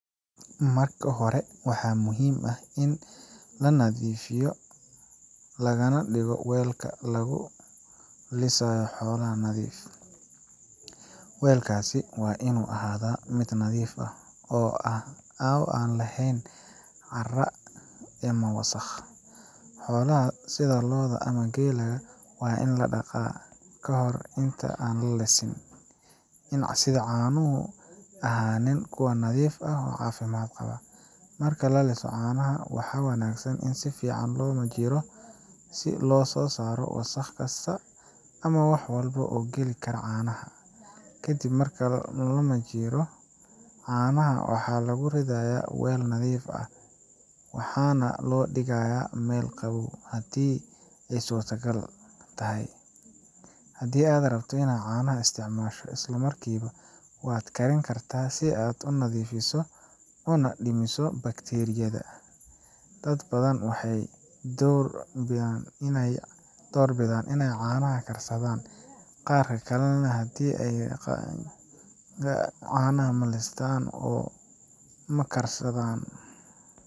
Marka hore, waxaa muhiim ah in nadiif laga dhigo weelka lagu lisayo xoolaha. Weelkaas waa in uu ahaadaa mid nadiif ah oo aan lahayn cara ama wax wasakh ah. Xoolaha sida lo’da ama geela waa in la dhaqaa ka hor inta aan la lisin, si caanuhu u ahaadaan kuwa nadiif ah oo caafimaad qaba. Marka la liso caanaha, waxaa wanaagsan in si fiican loo majiiro si loo saaro wasakh kasta ama walxo kale oo geli kara caanaha. Ka dib marka la majiiro, caanaha waxaa lagu ridaa weel nadiif ah, waxaana la dhigayaa meel qabow, haddii ay suurtagal tahay. Haddii aad rabto in aad caanaha isticmaasho isla markiiba, waad kari kartaa si aad u nadiifiso una dhimto bakteeriyada. Dad badan waxay door bidaan in ay caanaha karsadaan, gaar ahaan haddii ay rabaan caanaha malistan oo makarsadaan.